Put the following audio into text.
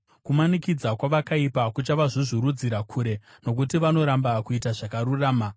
Kumanikidza kwavakaipa kuchavazvuzvurudzira kure, nokuti vanoramba kuita zvakarurama.